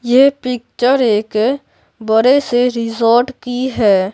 ये पिक्चर एक बड़े से रिसोर्ट की है।